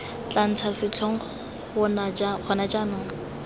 tla ntsha setlhong gona jaanong